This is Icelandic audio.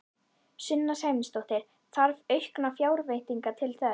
Sunna Sæmundsdóttir: Þarf auknar fjárveitingar til þess?